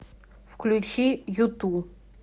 включи юту